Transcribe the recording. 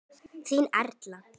Þín Erla.